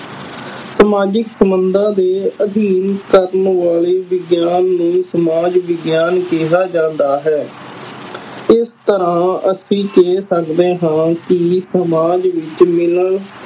ਸਮਾਜਿਕ ਸੰਬੰਧਾ ਦੇ ਅਧੀਨ ਕਰਨ ਵਾਲੇ ਵਿਗਿਆਨ ਨੂੰ ਸਮਾਜ ਵਿਗਿਆਨ ਕਿਹਾ ਜਾਂਦਾ ਹੈ ਇਸ ਤਰ੍ਹਾਂ ਅਸੀ ਕਹਿ ਸਕਦੇ ਹਾਂ ਕੇ ਸਮਾਜ ਵਿਚ ਮਿਲਣ